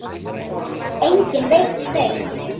Enginn veit um þau.